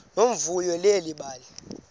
nomvuyo leli bali